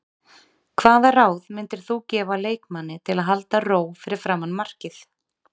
Hvaða ráð myndir þú gefa leikmanni til að halda ró fyrir framan markið?